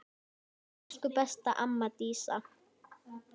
Elsku besta amma Dísa.